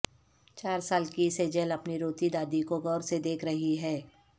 چار سال کی سیجل اپنی روتی دادی کو غور سے دیکھ رہی ہے